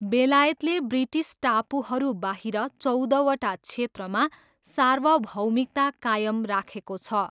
बेलायतले ब्रिटिस टापुहरूबाहिर चौधवटा क्षेत्रमा सार्वभौमिकता कायम राखेको छ।